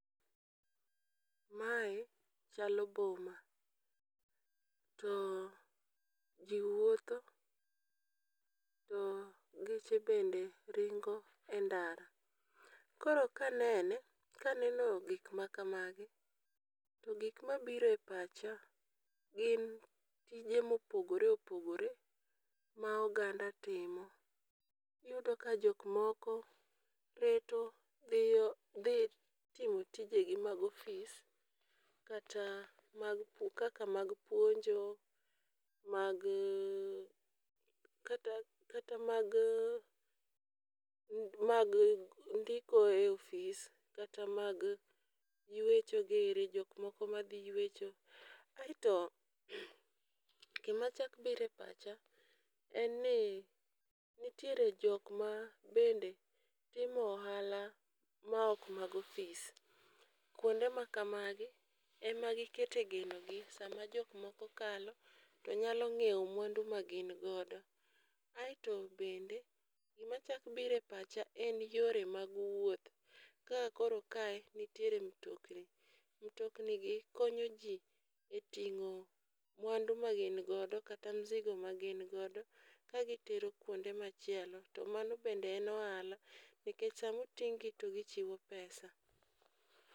Mae chalo boma to jii wuotho to geche bende ringo e ndara .Koro kanene kaneno gik ma kamagi to gik mabire pacha gin tije mopogore opogore ma oganda timo. Iyudo ka jok moko reto dhiyo dhi timo tijegi mag ofis kata mag pu kaka mag puonjo, mag kata kata mag mag ndiko e ofis, kata mag ywecho giri jok moko madhi ywecho. Aeto gima chak bire pacha en ni nitiere jok ma bende timo ohala ma ok mag ofis. Kuonde ma kamagi ema gikete geno gi saa ma jok moko kalo to nyalo ng'iewo mwandu ma gin godo. Aeto bende gima chak bire pacha en yore mag wuoth. Ka koro kae nitiere mtokni, mtokni gi konyo jii e ting'o mwandu ma gin godo kata mzigo ma gin godo ka gitero kuonde machielo to mano bende en ohala nikech samoting' gi to gichiwo pesa